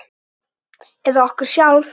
Eða okkur sjálf?